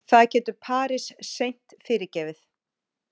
Það getur Paris seint fyrirgefið